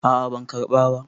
a a ban karɓa ba